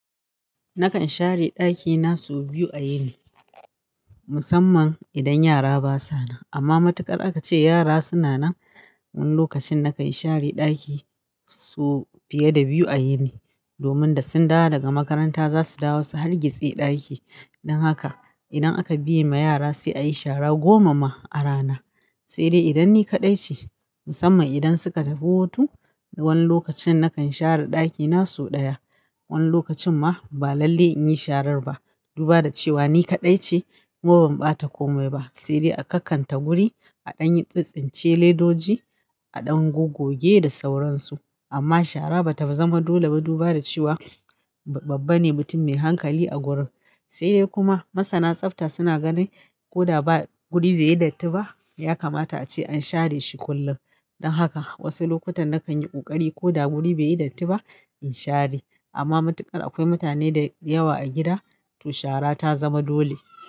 Nakan share ɗakina sau biyu a yini musamman idan yara basa nan. Amma matuƙar aka ce yara suna nan, wani lokacin nakan share ɗaki so fiye da biyu a yini domin da sun dawo daga makaranta, za su dawo su hargitse ɗaki. Dan haka idan aka biye ma yara sai a yi shara goma ma a rana. Sai dai idan ni kaɗai ce musamman idan suka tafi hutu, wani lokacin nakan share ɗakina sau ɗaya. Wani lokacin ma ba lalle in yi sharar ba. Duba da cewa ni kaɗai ce, kuma ban ɓata komai ba. Sai dai a kakkanta guri, a ɗan yi tsintsince ledoji, a ɗan gogoge da sauransu. Amma shara bata zama dole ba duba da cewa babba ne mutum mai hankali a gurin. Sai dai kuma masana tsafta suna ganin ko da ba guri beyi datti ba, ya kamata ace an share shi kullum. Dan haka wasu lokutan nakan yi ƙoƙari ko da guri bai yi datti ba in share. Amma matuƙar akwai mutane dayawa a gida, to shara ta zama dole.